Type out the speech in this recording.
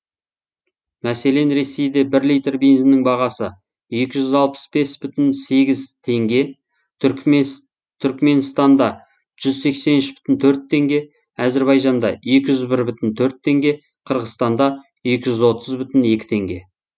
мәселен ресейде бір литр бензиннің бағасы екі жүз алпыс бес бүтін сегіз теңге түрікменстанда жүз сексен үш бүтін төрт теңге әзербайжанда екі жүз бір бүтін төрт теңге қырғызстанда екі жүз отыз бүтін екі теңге